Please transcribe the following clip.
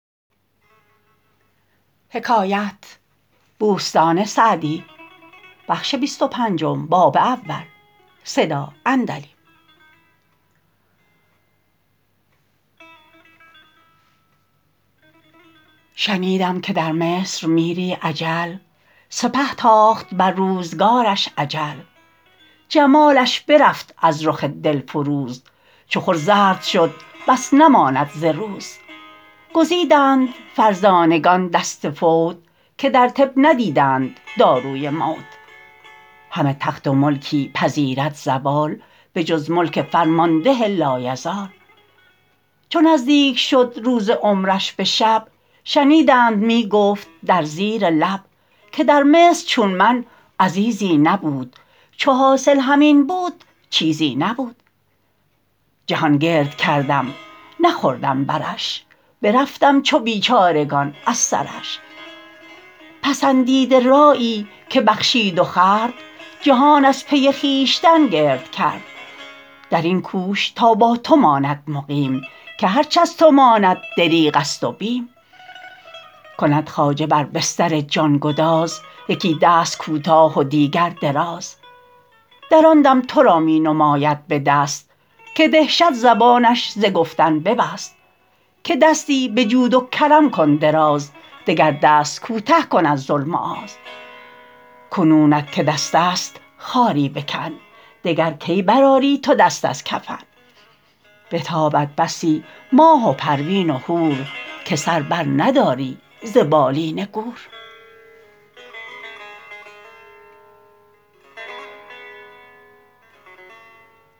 شنیدم که در مصر میری اجل سپه تاخت بر روزگارش اجل جمالش برفت از رخ دل فروز چو خور زرد شد بس نماند ز روز گزیدند فرزانگان دست فوت که در طب ندیدند داروی موت همه تخت و ملکی پذیرد زوال به جز ملک فرمانده لایزال چو نزدیک شد روز عمرش به شب شنیدند می گفت در زیر لب که در مصر چون من عزیزی نبود چو حاصل همین بود چیزی نبود جهان گرد کردم نخوردم برش برفتم چو بیچارگان از سرش پسندیده رایی که بخشید و خورد جهان از پی خویشتن گرد کرد در این کوش تا با تو ماند مقیم که هرچ از تو ماند دریغ است و بیم کند خواجه بر بستر جان گداز یکی دست کوتاه و دیگر دراز در آن دم تو را می نماید به دست که دهشت زبانش ز گفتن ببست که دستی به جود و کرم کن دراز دگر دست کوته کن از ظلم و آز کنونت که دست است خاری بکن دگر کی بر آری تو دست از کفن بتابد بسی ماه و پروین و هور که سر بر نداری ز بالین گور